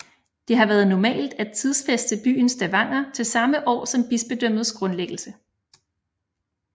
Det har været normalt at tidsfæste byen Stavanger til samme år som bispedømmets grundlæggelse